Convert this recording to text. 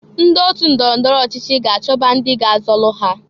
Ndị ọtụ ndọrọ ndọrọ ọchịchị ga-achọba ndị ga-azọlụ ha.